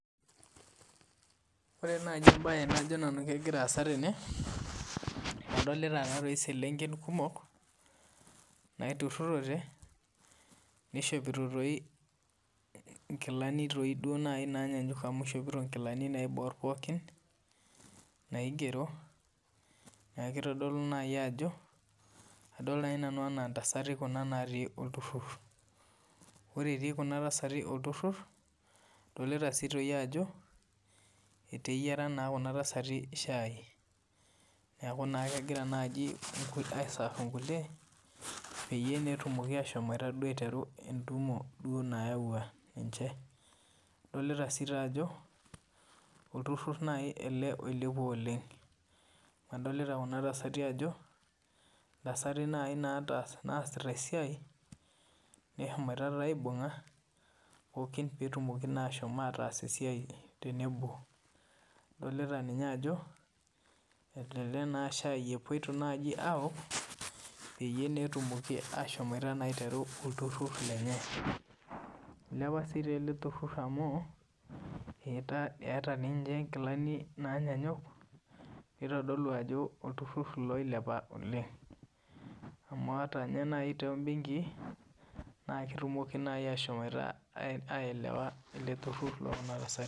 Ore naaji mbae najo nanu kegira asaa tene adolita eselenken kumok naitururote naishopito nkilani doi naaji nanyanyuk amu eshopoto nkilani naibor pookin naigero neeku kitodolu naaji kadol naaji nanu ena ntasati natii olturur ore eti olturur adolita Ajo eteyiara shai neeku kegira naaji iseerve nkulie peeyie etumoki ashomo aiteru entumo nayawua naaduo adolita sii ajo olturur ele oilepua oleng adolita Kuna tasati Ajo ntasati naasita esiai nehomoite aibung'a pookin petumoki ashomo ataas esiai tenebo adolita ninye Ajo elelek aa shai epuoito awok petum aiteru olturur lenye eilepa sii ele turur amu etaa ninche nkilani nanyanyuk neitodolu Ajo olturur oilepa oleng amu ataa naaji ninye benkii naa ketumoki ahomo aelewa ele turur loo Kuna tasati